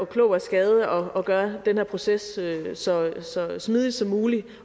klog af skade prøvet at gøre den her proces så smidig som muligt